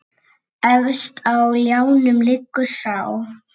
Efst á ljánum liggur sá.